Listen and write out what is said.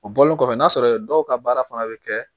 O bɔlen kɔfɛ n'a sɔrɔ dɔw ka baara fana bɛ kɛ